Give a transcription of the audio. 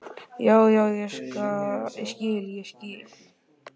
Já, já, ég skil, ég skil.